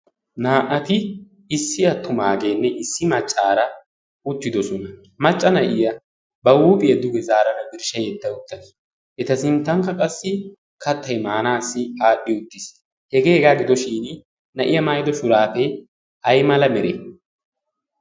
naa'ati issi attumaageenne issi maccaara ucchidosona. macca na'iya ba huuphiya duge zaarara birshsha yetta uttais eta sinttankka qassi kattai maanaassi aadhdhi uttiis. hegee hegaa gidoshin na'iyaa maayido shuraafee aymala mere?